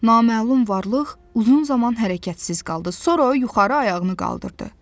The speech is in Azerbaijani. Naməlum varlıq uzun zaman hərəkətsiz qaldı, sonra yuxarı ayağını qaldırdı.